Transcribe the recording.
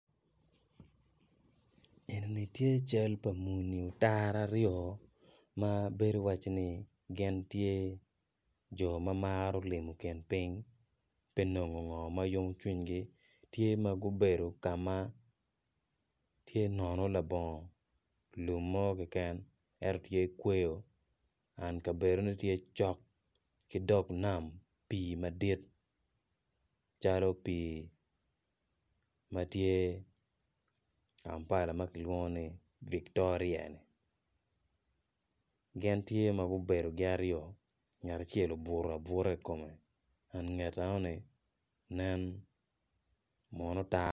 Eni bedo cal pa muni otara aryo ma bedo calo iwacci gin tye jo ma gimaro limo kin piny ka neno gin ma yomo cwinygi tye gubedo ka ma tye nono ento tye kweyo and kabedone tye cok ki dog nam madit calo pii ma tye kampala ma kilwongo ni Victoria-ni.